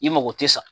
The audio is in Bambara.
I mago tɛ sa